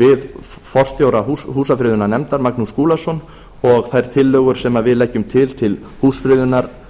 við forstjóra húsafriðunarnefndar magnús skúlason og þær tillögur sem við leggjum til til húsfriðunar